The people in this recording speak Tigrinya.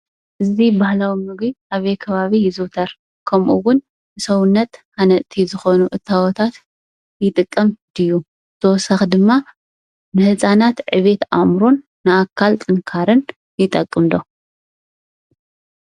እዚ ባህላዊ ምግቢ አበይ ከባቢ ይዝውተር? ከምኡውን ሰውነት ሃነፀቲ ዝኮኑ እታወታት ይጥቀም ድዩ? ብተወሳኪ ድማ ንህፃናት ዕቤት አእምሮን ንአካል ጥንካረን ይጠቅም ዶ?